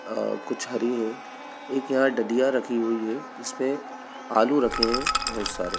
अ कुछ हरी हेय एक यहां डडिया रखी हुई है जिसमें आलू रखे हैं बहुत सारे।